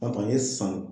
A kɔni ye san